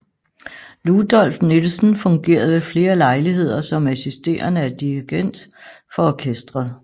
Ludolf Nielsen fungerede ved flere lejligheder som assisterende dirigent for orkestret